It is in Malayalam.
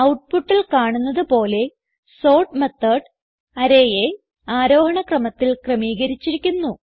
ഔട്ട്പുട്ടിൽ കാണുന്നത് പോലെ സോർട്ട് മെത്തോട് arrayയെ ആരോഹണ ക്രമത്തിൽ ക്രമീകരിച്ചിരിക്കുന്നു